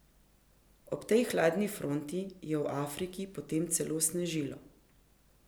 Ob tej hladni fronti je v Afriki potem celo snežilo.